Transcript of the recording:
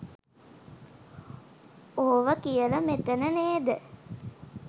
ඕව කියල මෙතන නේද?